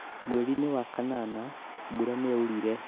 Mweri-ini wa kanana mbura nĩyaurire